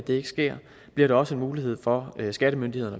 ikke sker bliver der også mulighed for skattemyndigheder